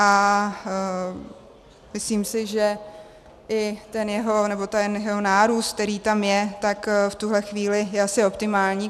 A myslím si, že i ten jeho nárůst, který tam je, tak v tuhle chvíli je asi optimální.